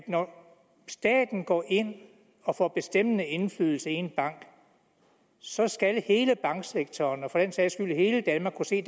når staten går ind og får bestemmende indflydelse i en bank at så skal hele banksektoren og for den sags skyld hele danmark kunne se